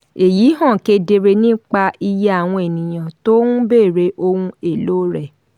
èyí hàn kedere nípa iye àwọn ènìyàn tó ń béèrè ohun èlò rẹ̀.